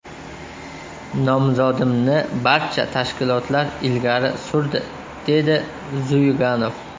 Nomzodimni barcha tashkilotlar ilgari surdi”, dedi Zyuganov.